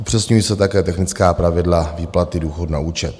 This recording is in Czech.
Upřesňují se také technická pravidla výplaty důchodu na účet.